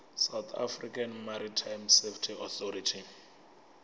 south african maritime safety authority